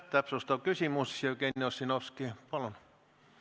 Täpsustav küsimus, Jevgeni Ossinovski, palun!